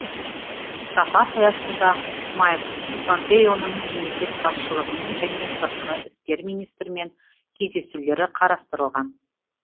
сапар аясында майк помпеоның мемлекет басшылығымен және сыртқы істер министрімен кездесулері қарастырылған